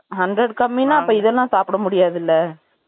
Hundred கம்மின்னா, அப்போ இதெல்லாம் சாப்பிட முடியாது இல்லை